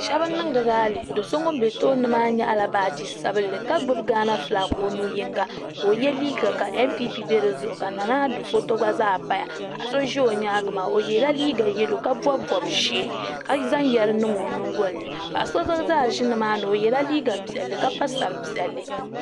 Shɛbi n niŋdi raali doso ŋun be tooni maa nyaɣila baaji sabinli ka gbibi gaana filaaki o nu yinga ka o ye liiga ka npp be di zuɣu ka nanaado foto gba pa dizuɣu paɣa so ʒi o nyaanga maa o yɛla liiga yelo ka bobi bob'ʒee ka zaŋ yɛri n niŋ o nyingoli ni paɣa so gba ʒi nimani o yɛla liiga piɛlli ka pa sari piɛlli.